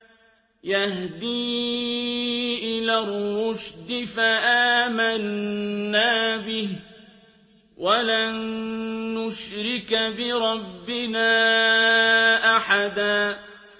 يَهْدِي إِلَى الرُّشْدِ فَآمَنَّا بِهِ ۖ وَلَن نُّشْرِكَ بِرَبِّنَا أَحَدًا